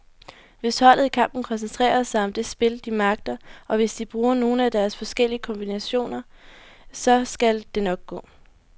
Hvis holdet i kampen koncentrerer sig om det spil, de magter, og hvis de bruger nogle af deres forskellige kombinationer, så skal det nok gå.